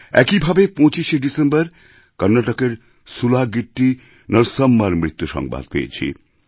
একই ভাবে ২৫শে ডিসেম্বর কর্ণাটকের সুলাগিট্টি নরসাম্মার মৃত্যুসংবাদ পেয়েছি